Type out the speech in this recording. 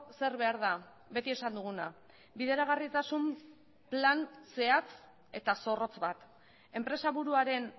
zer behar da beti esan duguna bideragarritasun plan zehatz eta zorrotz bat enpresaburuaren